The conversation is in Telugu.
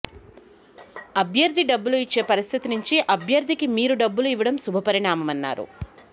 అభ్యర్థి డబ్బులు ఇచ్చే పరిస్థితి నుంచి అభ్యర్థికి మీరు డబ్బులు ఇవ్వడం శుభపరిణామన్నారు